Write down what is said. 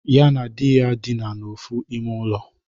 Ya na di ya dịna n'ofu ime ulo.